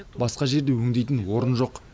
басқа жерде өңдейтін орын жоқ